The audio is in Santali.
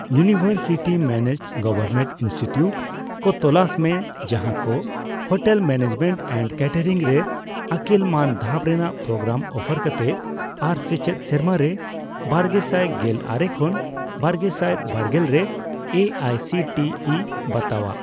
ᱤᱭᱩᱱᱤᱣᱮᱨᱥᱤᱴᱤ ᱢᱮᱱᱮᱡᱰᱼᱜᱚᱣᱚᱨᱢᱮᱱᱴ ᱤᱱᱥᱴᱤᱴᱤᱭᱩᱴ ᱠᱚ ᱛᱚᱞᱟᱥ ᱢᱮ ᱡᱟᱦᱟᱠᱚ ᱦᱳᱴᱮᱞ ᱢᱮᱱᱮᱡᱢᱮᱱᱴ ᱮᱱᱰ ᱠᱮᱴᱮᱨᱤᱝ ᱨᱮ ᱟᱹᱠᱤᱞ ᱢᱟᱱ ᱫᱷᱟᱯ ᱨᱮᱱᱟᱜ ᱯᱨᱳᱜᱨᱟᱢ ᱚᱯᱷᱟᱨ ᱠᱟᱛᱮ ᱟᱨ ᱥᱮᱪᱮᱫ ᱥᱮᱨᱢᱟᱨᱮ ᱵᱟᱨᱜᱮᱥᱟᱭ ᱜᱮᱞ ᱟᱨᱮ ᱠᱷᱚᱱ ᱵᱟᱨᱜᱮᱥᱟᱭ ᱵᱟᱨᱜᱮᱞ ᱨᱮ A I C T E ᱵᱟᱛᱟᱣᱟᱜ ᱾